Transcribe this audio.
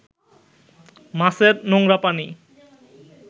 মাছের নোংরা পানি